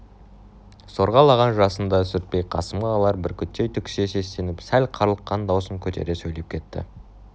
сорғалаған жасын да сүртпей қасымға алар бүркіттей түксие сестеніп сәл қарлыққан даусын көтере сөйлеп кетті